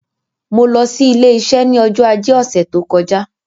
Mo lọ sí ilé iṣẹ́ ní ọjọ́ ajé ọ̀sẹ̀ tó kọjá